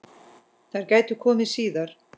Þær gætu komið síðar.